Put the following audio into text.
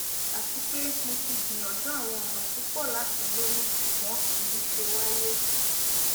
ati pe mo ti gbiyanju awọn ọna pupọ lati loyun ṣugbọn kii ṣe waye